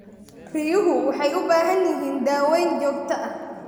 Riyuhu waxay u baahan yihiin daaweyn joogto ah.